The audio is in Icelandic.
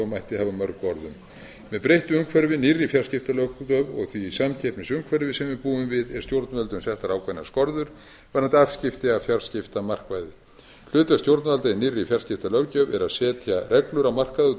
hafa mörg orð um með breyttu umhverfi nýrri fjarskiptalöggjöf og því samkeppnisumhverfi sem við búum við er stjórnvöldum settar ákveðnar skorður varðandi afskipti af fjarskiptamarkaði hlutverk stjórnvalda í nýrri fjarskiptalöggjöf er að setja reglur á markaði og